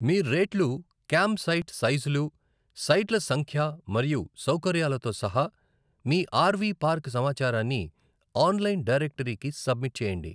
మీ రేట్లు, camp site సైజులు, సైట్ల సంఖ్య మరియు సౌకర్యాలతో సహా మీ ఆర్ వి పార్క్ సమాచారాన్ని ఆన్లైన్ డైరెక్టరీకి సబ్మిట్ చేయండి.